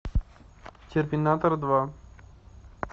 терминатор два